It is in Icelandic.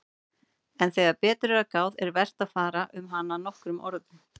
En þegar betur er að gáð er vert að fara um hana nokkrum orðum.